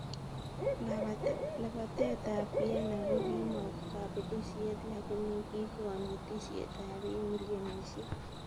Lapatet ab Viena kokimo kapelisiet lagini kikonetisiet ab biik milionisiek.